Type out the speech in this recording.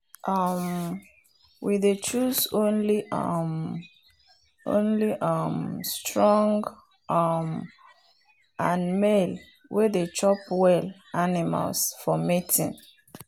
um we dey choose only um only um strong um and male way dey chop well animals for mating.